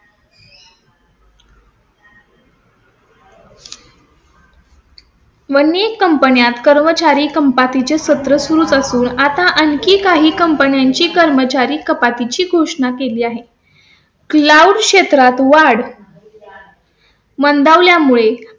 मणी कंपन्या कर्मचारी चे सत्र सुरूच असून, आता आणखी काही कंपन्यांची कर्मचारी कपाती ची घोषणा केली आहे. क्षेत्रात वाढ . मंदावल्या मुळे